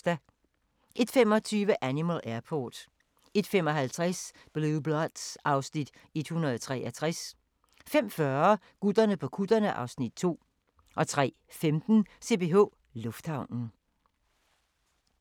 01:25: Animal Airport 01:55: Blue Bloods (Afs. 163) 02:40: Gutterne på kutterne (Afs. 2) 03:15: CPH Lufthavnen